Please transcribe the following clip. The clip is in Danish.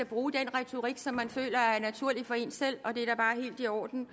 bruge den retorik som man føler er naturlig for en selv og det er da bare helt i orden